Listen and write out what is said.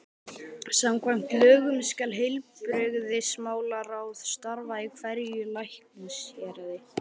Samkvæmt lögunum skal heilbrigðismálaráð starfa í hverju læknishéraði.